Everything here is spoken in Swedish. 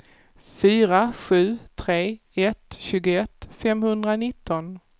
fyra sju tre ett tjugoett femhundranitton